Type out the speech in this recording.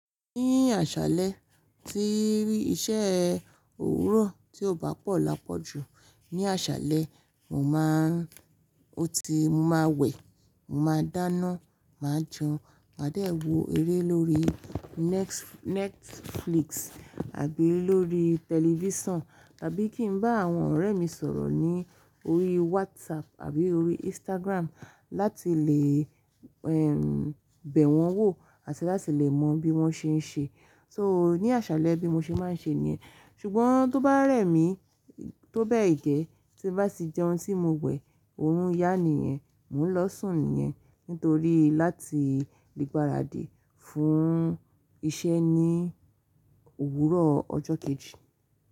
Ní àṣálẹ́ tí iṣẹ́ òwúrọ̀ tí ò bá pọ̀ lápọ̀jù, ní àṣálẹ́ mo máa ń, ó ti, mo máa wẹ̀, mo máa dáná, máa jẹun, máa dẹ̀ wò eré lórí Next Netflix àbí lórí tẹlifísàn, tàbí kí ń bá àwọn ọ̀rẹ́ mi sọ̀rọ̀ ní orí WhatsApp àbí orí Instagram láti lè, ẹ́, bẹ̀ wọ́n wò àti láti lè mọ bí wọ́n ṣe ń ṣe. So ní àṣálẹ́ bí mo ṣe máa ń ṣe nìyẹn. Ṣùgbọ́n tó bá rẹ̀ mí, tó bẹ́ẹ̀ gẹ́, tí bá ti jẹun tí mo wẹ̀, oorun yá nìyẹn, mò ń lọ sùn nìyẹn nítorí láti le gbaradì fún iṣẹ́ ní òwúrọ̀ ọjọ́ kejì.